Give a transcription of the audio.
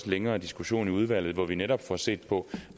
længere diskussion i udvalget hvor vi netop får set på